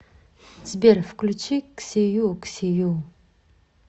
сбер включи ксию ксию